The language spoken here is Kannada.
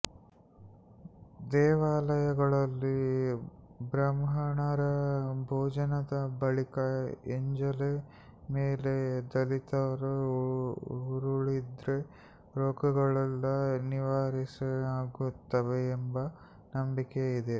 ದೇವಾಲಯಗಳಲ್ಲಿ ಬ್ರಾಹ್ಮಣರ ಭೋಜನದ ಬಳಿಕ ಎಂಜಲೆಲೆ ಮೇಲೆ ದಲಿತರು ಉರುಳಿದ್ರೆ ರೋಗಗಳೆಲ್ಲ ನಿವಾರಣೆಯಾಗುತ್ತವೆ ಎಂಬ ನಂಬಿಕೆ ಇದೆ